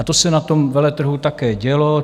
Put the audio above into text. A to se na tom veletrhu také dělo.